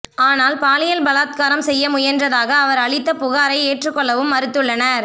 ஆனால் பாலியல் பலாத்காரம் செய்ய முயன்றதாக அவர் அளித்த புகாரை ஏற்றுக்கொள்ளவும் மறுத்துள்ளனர்